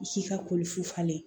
Si ka koli fu falen